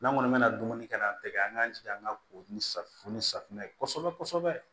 N'an kɔni mɛna dumuni kɛ k'an tɛgɛ an k'an jija an ka ko ni safunɛ ni safunɛ ye kosɛbɛ kosɛbɛ